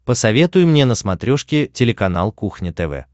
посоветуй мне на смотрешке телеканал кухня тв